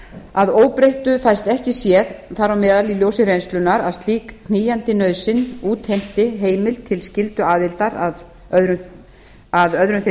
að óbreyttu fæst ekki séð þar á meðal í ljósi reynslunnar að slík knýjandi nauðsyn útheimti heimild til skylduaðildar að öðrum þeim